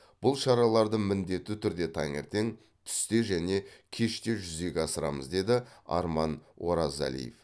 бұл шараларды міндетті түрде таңертең түсте және кеште жүзеге асырамыз деді арман оразалиев